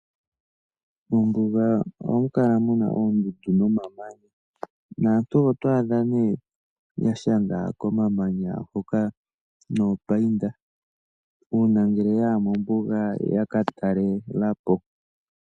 Mombuga ohamu kala mu na oondundu nomamanya. Naantu oto odha nee ya shanga komamanya hoka noopainda uuna ngele ya ya mombuga ya ka talela po.